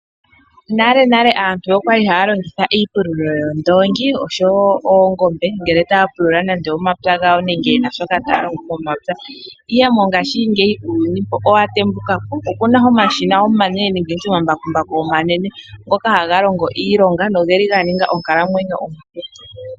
Nalenale aantu okwali haya longitha iipululo yOondoongi osho wo Oongombe ngele taya pulula momapya gawo nenge yena shoka taya longo momapya. Ihe mongashingika uuyuni owa tembuka po, opuna omashina omanene nenge nditye omambakumbaku omanene ngoka haga longo iilonga no geli ga ninga onkalamwenyo ompu.